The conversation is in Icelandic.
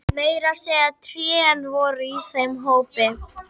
Meira að segja trén voru í þeim hópi.